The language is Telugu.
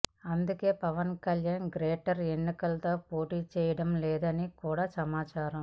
అందుకే పవన్ కళ్యాణ్ గ్రేటర్ ఎన్నికలలో పోటీ చేయడం లేదని కూడా సమాచారం